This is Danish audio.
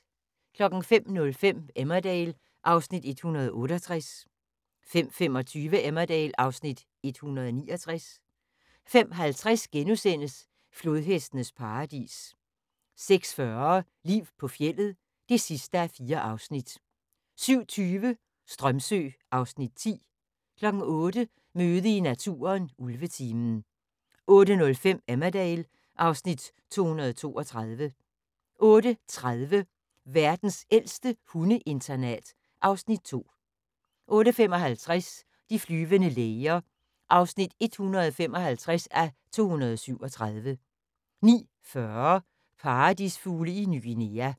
05:05: Emmerdale (Afs. 168) 05:25: Emmerdale (Afs. 169) 05:50: Flodhestenes paradis * 06:40: Liv på fjeldet (4:4) 07:20: Strömsö (Afs. 10) 08:00: Møde i naturen: Ulvetimen 08:05: Emmerdale (Afs. 232) 08:30: Verdens ældste hundeinternat (Afs. 2) 08:55: De flyvende læger (155:237) 09:40: Paradisfugle i Ny Guinea